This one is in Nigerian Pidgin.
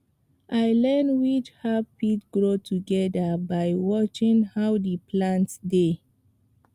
i learn which herb fit grow together by watching how the plants dey